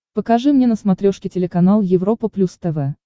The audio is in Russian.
покажи мне на смотрешке телеканал европа плюс тв